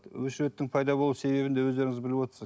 очередьтің пайда болу себебін де өздеріңіз біліп отырсыз